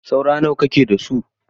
Saurayi nawa kike da su?